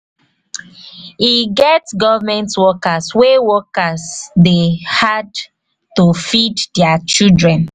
e get government workers wey workers dey hard to feed their children.